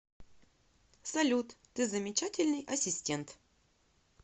салют ты замечательный ассистент